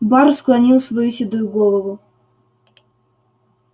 бар склонил свою седую голову